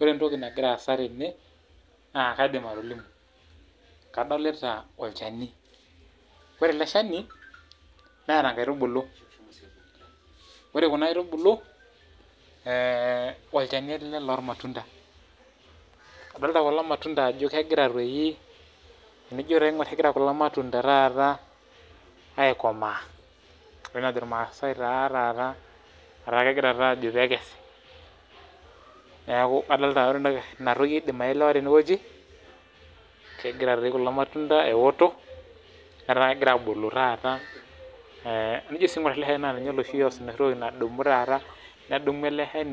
Ore entoki nagira aasa tene naa kaidim atolimu naa kadolita olchani neeta nkaitubulu .ore kuna aitubulu eeh olchani ele lormatunda adolita kuna matunda ajo egira kulomatunda taata aikomaa enoshi najo ilmaasai taa taata kegira taa aajo peekes niaku inatoki aidim aelewa tenewueji kegira toi kulomatunda ewotok etaa egira abulu taata tenijo sii aingur ele shani naa ninye sii oash enoshi siai enoshi toki nadumu taata